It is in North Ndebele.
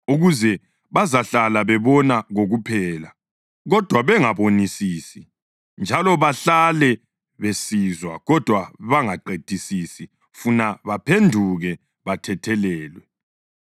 ukuze, ‘bazahlala bebona kokuphela kodwa bengabonisisi, njalo bahlale besizwa kodwa bengaqedisisi funa baphenduke bathethelelwe!’ + 4.12 U-Isaya 6.9-10 ”